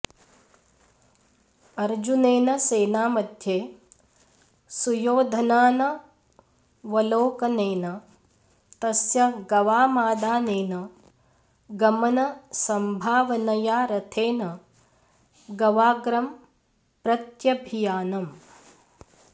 अर्जुनेन सेनामध्ये सुयोधनानवलोकनेन तस्य गवामादानेन गमनसंभावनया रथेन गवाग्रं प्रत्यभियानम्